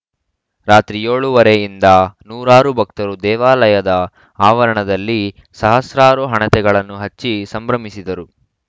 ರಾತ್ರಿ ಏಳು ಮೂವತ್ತ ರಿಂದ ನೂರಾರು ಭಕ್ತರು ದೇವಾಲಯದ ಆವರಣದಲ್ಲಿ ಸಹಸ್ರಾರು ಹಣತೆಗಳನ್ನು ಹಚ್ಚಿ ಸಂಭ್ರಮಿಸಿದರು